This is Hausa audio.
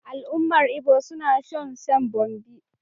Al'ummar Igbo suna son shan bommi.